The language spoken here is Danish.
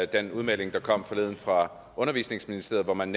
den udmelding der kom forleden fra undervisningsministeriet hvor man